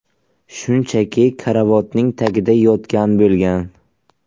Shunchaki karavotning tagida yotgan bo‘lgan.